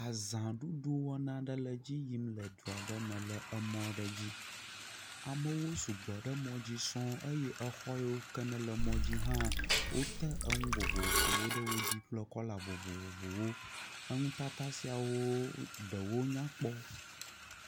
Azãɖuɖu aɖe wɔna le edzi yim le du aɖe me le mɔ aɖe dzi. Amewo sugbɔ ɖe emɔ dzi sɔŋ eye exɔ yiwo ke le mɔ dzi hã wote enu vovovowo ɖe wo dzi kple kɔla vovovowo, enu tata siawo hã ɖewo nyakpɔ.